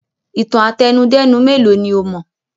Ìtàn àtẹnudẹ́nu mélòó ni ó mọ̀?